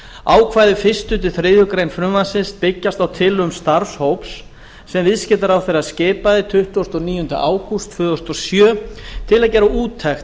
ákvæði fyrstu til þriðju greinar frumvarpsins byggjast á tillögum starfshóps sem viðskiptaráðherra skipaði tuttugasta og níunda ágúst tvö þúsund og sjö til að gera úttekt